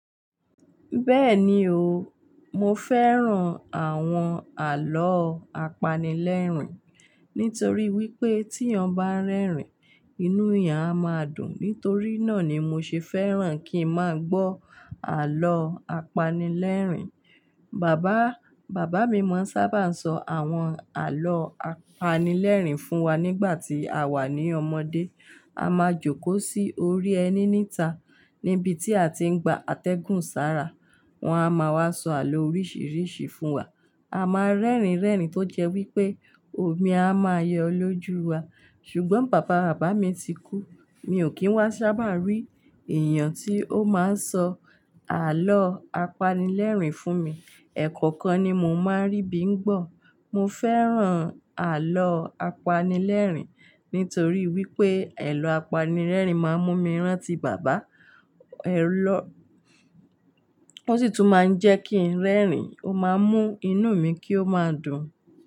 Bẹ́ẹ̀ni o, mo fẹ́ràn àwọn àlọ́ apanilẹ́rìn nítorí wípé tí yan bá ń rẹ́rìn, inú èèyàn a máa dùn. Nítorí náà ni mo ṣe fẹ́ràn kí n máa gbọ́ àlọ́ apanilẹ́rìn. Bàbá, bàbá mi máa ń sábà sọ àwọn àlọ́ apanilẹ́rìn fún wa nígbà tí àwa ní ọmọdé. A máa jókòó sí orí ẹní níta níbi tí a ti ń gba atẹ́gùn sára. Wọ́n a máa wá sọ àlọ́ oríṣiríṣi fún wa. A máa ń rẹ́rìn rẹ́rìn tó jẹ́ wípé omi a máa yọ lójú wa. Ṣùgbọ́n pàpà bàbá mi ti kú, mi ò kí ń wá sábà rí èèyàn tí ó máa ń sọ àlọ́ apanilẹ́rìn fún mi. Ẹ̀ẹ̀kọ̀kan ni mo máa ń rí bí ń gbọ̀. Mo fẹ́ràn àlọ́ apanilẹ́rìn nítorí wípé àlọ́ apanilẹ́rìn máa ń mú mi rántí bàbá, ẹ́ lọ-- ó sì tún máa ń jẹ́ kí ń rẹ́rìn, ó máa ń mú inú mi kí ó máa dùn.